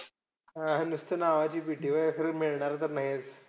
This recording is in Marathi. हा. नुसतं नावाची PT व्हयं असं काही मिळणार तर नाही.